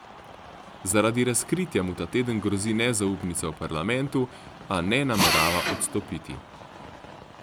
Zaradi razkritja mu ta teden grozi nezaupnica v parlamentu, a ne namerava odstopiti.